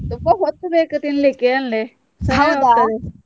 ತುಂಬಾ ಹೊತ್ತು ಬೇಕು ತಿನ್ಲಿಕ್ಕೆ ಅಂದೆ .